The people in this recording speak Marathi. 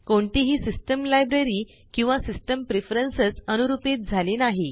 कोणतीही सिस्टम लायब्ररी किंवा सिस्टम प्रेफरन्स अनुरूपीत झाली नाही